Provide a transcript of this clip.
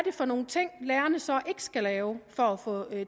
er for nogle ting lærerne så ikke skal lave for at få